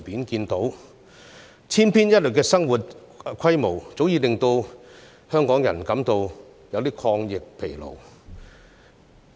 這種千篇一律的生活模式，早已令香港人感到有點抗疫疲勞。